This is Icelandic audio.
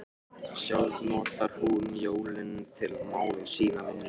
Sjálf notar hún jólin til að mála sína vinnustofu.